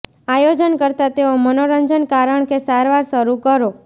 આયોજન કરતાં તેઓ મનોરંજન કારણ કે સારવાર શરૂ કરો